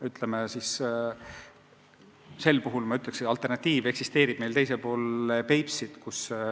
Ütleksin, et meil eksisteerib alternatiiv teisel pool Peipsit.